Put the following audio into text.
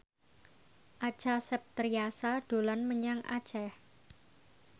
Acha Septriasa dolan menyang Aceh